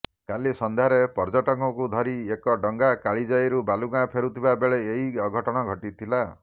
କାଲି ସଂଧ୍ୟାରେ ପର୍ଯ୍ୟଟକଙ୍କୁ ଧରି ଏକ ଡଙ୍ଗା କାଳିଜାଈରୁ ବାଲୁଗାଁ ଫେରୁଥିବା ବେଳେ ଏହି ଅଘଟଣ ଘଟିଥିଲା